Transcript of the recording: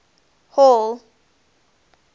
hall